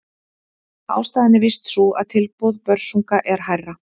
Ástæðan er víst sú að tilboð Börsunga er hærra.